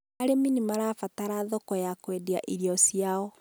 Arĩmi nĩ mabataraga thoko ya kũendia irio ciao.